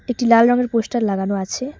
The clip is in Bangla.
একটি লাল রঙের পোস্টার লাগানো আছে।